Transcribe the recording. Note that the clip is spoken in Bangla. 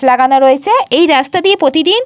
লাগানো রয়েছে। এই রাস্তা দিয়ে প্রতিদিন।